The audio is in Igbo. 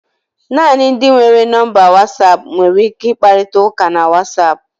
Naanị ndị nwere nọmba Wasapu nwere ike ịkparịta ụka na Wasapu